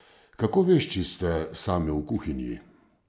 Kako vešči ste sami v kuhinji?